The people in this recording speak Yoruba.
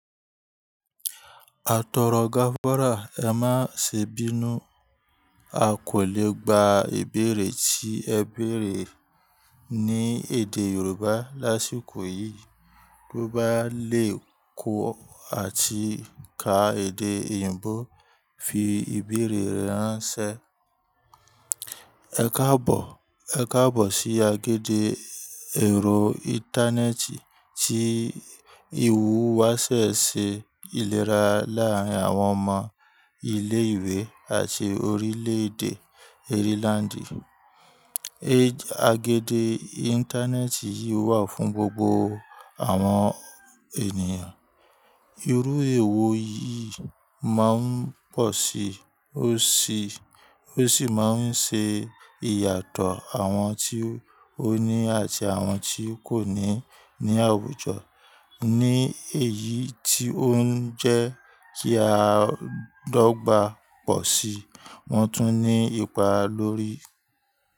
Atọrọ gáfárà! Ẹ má ṣe bínú, a kò lè gba ìbéèrè tí ẹ béèrè ní èdè Yorùbá lásìkò yìí, t'ò bá lè kọ àti ka èdè òyìnbó fi ìbéèrè rẹ ránṣẹ́. Ẹ káàbọ̀, ẹ káàbọ̀ sí agede ẹ̀rọ íńtánẹ́ẹ̀tì tí ìhùwàsé ṣe ìlera láàárín àwọn ọmọ ilé ìwé àti orílẹ̀ èdè Ireland. Agede íńtánẹ́ẹ̀tì yìí wà fún gbogbo àwọn ènìyàn. Irú èwọ yìí máa ń pọ̀ sí, ó sì máa ń ṣe ìyàtọ̀ àwọn tí ó ní àti àwọn tí kò ní ní àwùjọ. Ni èyí tí ó ń jẹ́ kí a dogbà pọ̀ sí, wọn tún ní ipa lórí.